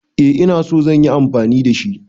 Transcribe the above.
Eh ina so zan yi amfani da shi.